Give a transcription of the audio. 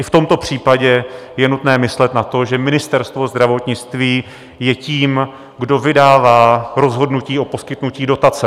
I v tomto případě je nutné myslet na to, že Ministerstvo zdravotnictví je tím, kdo vydává rozhodnutí o poskytnutí dotace.